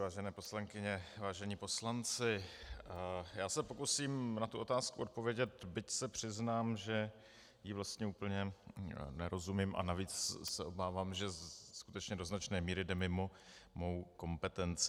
Vážené poslankyně, vážení poslanci, já se pokusím na tu otázku odpovědět, byť se přiznám, že jí vlastně úplně nerozumím a navíc se obávám, že skutečně do značné míry jde mimo mou kompetenci.